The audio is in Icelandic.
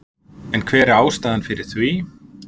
En hver er ástæðan fyrir því?